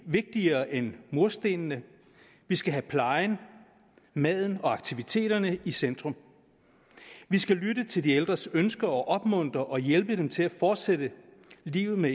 vigtigere end murstenene vi skal have plejen maden og aktiviteterne i centrum vi skal lytte til de ældres ønsker og opmuntre og hjælpe dem til at fortsætte livet med